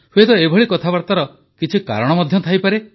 ହୁଏତ ଏଭଳି କଥାବାର୍ତ୍ତାର କିଛି କାରଣ ମଧ୍ୟ ଥାଇପାରେ